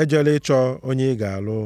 Ejela ịchọ onye ị ga-alụ.